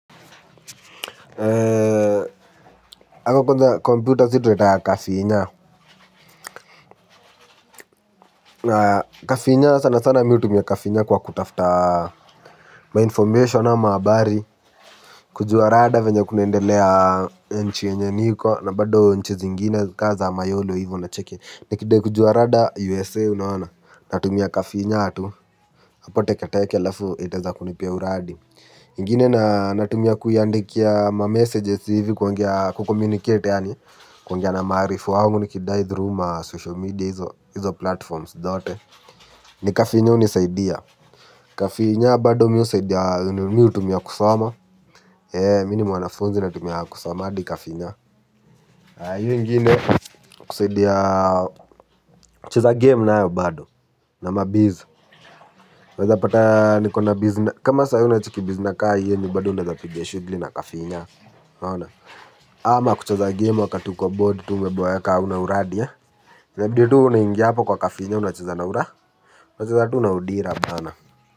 Eee. Ako konza computer situnaitanga kafinya. Na kafinya sana sana miu tumia kafinya kwa kutafta Mainformation ama abari. Kujua rada venye kunaendelea nchi yenye niko na bado nchi zingine kaa za mayolo hivo na cheke. Nikidai kujua rada USA unaona. Natumia kafinyaa tu. Apoteke teke alafu itaeza kunipia uradi ingine natumia kuyandikia ma messages hivi kwongea kukomunicate yani. Kwongea na maarif wangu nikidai through ma social media hizo platforms dhote. Ni kafinyo unisaidia. Kafinya bado miu saidia mi utumia kusoma. Mi ni mwanafunzi natumia kusoma adi kafinya. Ayu ingine kusaidia cheza game nayo bado. Na mabizz weza pata nikona bizna. Kama saii unachiki bizna kaa ii yenye bado unazapiga shugli na kafinya. Hona. Ama kucheza game wakati uko bored tu umeboeka hauna uradia nabidi tu unangia hapa kwa kafinya unachaza naura. Unachaza tu naudira bana.